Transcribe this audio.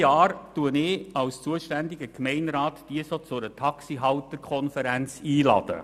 Als zuständiger Gemeinderat lade ich sie jedes Jahr zu einer Taxihalter-Konferenz ein.